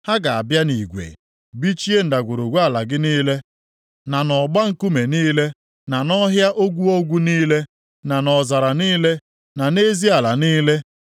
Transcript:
Ha ga-abịa nʼigwe, bichie ndagwurugwu ala gị niile, na nʼọgba nkume niile, na nʼọhịa ogwu ogwu niile, na nʼọzara niile, na nʼezi ala niile.